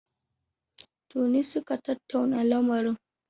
Tuni suka tattauna lamarin.